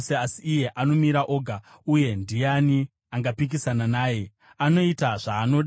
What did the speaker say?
“Asi iye anomira oga, uye ndiani angapikisana naye? Anoita zvaanoda.